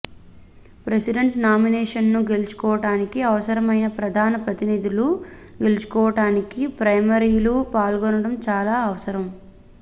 president నామినేషన్ను గెలుచుకోవటానికి అవసరమైన ప్రధాన ప్రతినిధులను గెలుచుకోవటానికి ప్రైమరీలలో పాల్గొనడం చాలా అవసరం